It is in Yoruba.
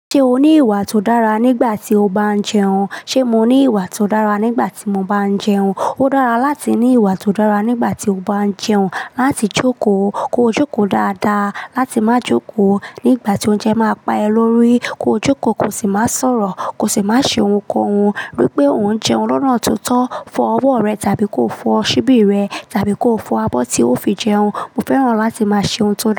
Ṣé o ní ìwà tó dára nígbà tí o bá ń jẹun? Ṣé mo ní ìwà tó dára nígbà tí mo bá ń jẹun? Ó dára láti ní ìwà tó dára nígbà tí o bá ń jẹun. Láti jókòó, kó jókòó dáadáa. Láti má jókòó nígbà tí oúnjẹ máa pa ẹ lórí, kó jókòó kò sì má sọ̀rọ̀, kò sì má ṣe ohunkóhun. Ríi pé òun jẹun lọ́nà tó tọ́ fọ ọwọ́ rẹ tàbí kó fọ ṣíbí rẹ tàbí kó fọ abọ́ tí o fi jẹun. Mo fẹ́ran láti má ṣe ohun tó tọ́.